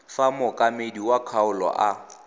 fa mookamedi wa kgaolo a